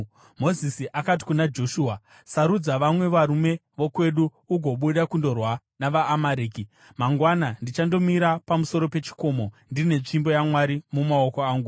Mozisi akati kuna Joshua, “Sarudza vamwe varume vokwedu ugobuda kundorwa navaAmareki. Mangwana ndichandomira pamusoro pechikomo ndine tsvimbo yaMwari mumaoko angu.”